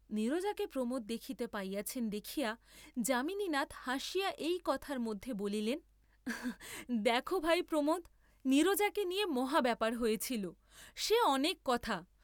নীরজাকে প্রমোদ দেখিতে পাইয়াছেন দেখিয়া যামিনীনাথ হাসিয়া এই কথার মধ্যে বলিলেন, দেখ ভাই প্রমোদ, নীরজাকে নিয়ে মহা ব্যাপার হয়েছিল, সে অনেক কথা।